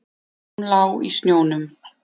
Hún lá í snjónum.